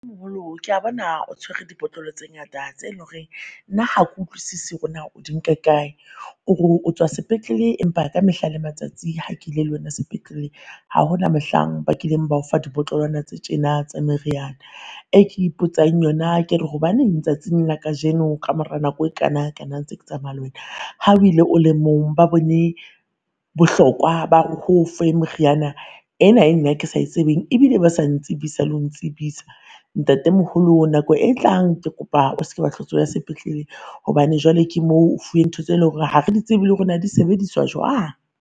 Ke a bona o tshwere dibotlolo tse ngata, tse lo reng nna ha kutlwisisi hore naa o di nka kae. O ro o tswa sepetlele, empa ka mehla le matsatsi ha ke ile le wena sepetlele, ha hona mohlang bakileng ba o fa dibotlolwana tse tjena tsa meriana. E ke ipotsang yona ke re hobaneng tsatsing la kajeno ka mora nako e kana kana ntse ke tsamaya le wena ha o ile o le mong ba bone bohlokwa ba ho o fe moriana ena e nna ke sa e tsebeng ebile ba sa ntsibisa lo ntsebisa. Ntate moholo nako e tlang ke kopa o seke wa hlo o tswela sepetleleng hobane jwale ke moo o fuwe ntho tse leng hore ha re di tsebe le hore na di sebediswa jwang.